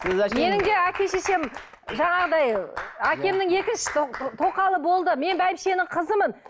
менің де әке шешем жаңағыдай әкемнің екінші тоқалы болды мен бәйбішенің қызымын